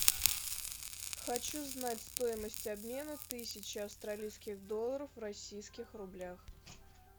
хочу знать стоимость обмена тысячи австралийских долларов в российских рублях